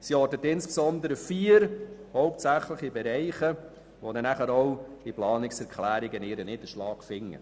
Sie ortet insbesondere vier hauptsächliche Bereiche, die in den Planungserklärungen ihren Niederschlag finden.